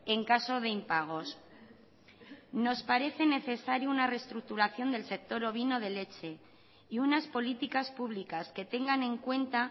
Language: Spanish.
en caso de impagos nos parece necesario una reestructuración del sector ovino de leche y unas políticas públicas que tengan en cuenta